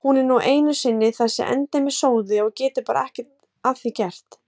Hún er nú einu sinni þessi endemis sóði og getur bara ekki að því gert.